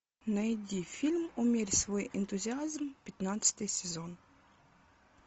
найди фильм умерь свой энтузиазм пятнадцатый сезон